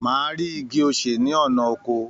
Màá rí igi osè ní ọ̀nà oko